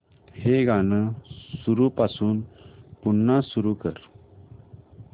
हे गाणं सुरूपासून पुन्हा सुरू कर